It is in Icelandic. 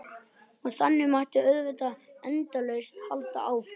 Og þannig mætti auðvitað endalaust halda áfram.